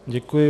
Děkuji.